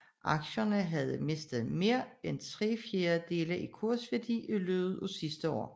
Aktierne havde mistet mere end tre fjerdedele af kursværdien i løbet af det sidste år